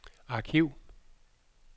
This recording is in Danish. arkiv